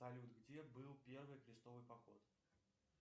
салют где был первый крестовый поход